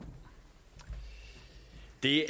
de